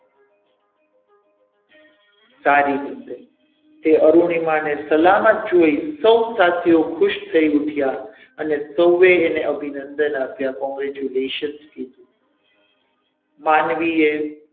સારી રીતે તે અરુણિમા ને સલામત જોઈ સૌ સાથીઓ ખુશ થઈ ઊઠ્યા અને સૌવે અને અભિનંદન આપ્યા. congratulation કીધું માનવીએ,